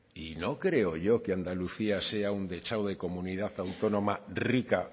y no creo yo que andalucía sea un dechado de comunidad autónoma rica